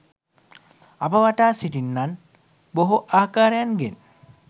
අප වටා සිටින්නන් බෙහෝ ආකාරයන්ගෙන්